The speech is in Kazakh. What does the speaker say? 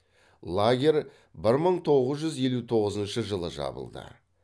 лагерь бір мың тоғыз жүз елу тоғызыншы жылы жабылды